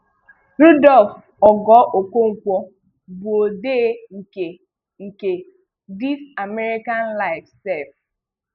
Rudolf Ogoo Okonkwọ bụ odee nke nke 'This American Life Sef.